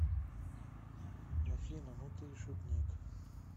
афина ну ты и шутник